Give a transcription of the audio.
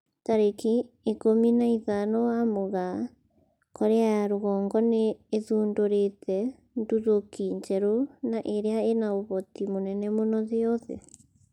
Tarĩki ikũmi na ithano wa Mũgaa, Korea ya rũgongo nĩ ĩthundũrĩte nduthũki njerũ na ĩrĩa ĩna ũhoti mũnene mũno thĩ yothe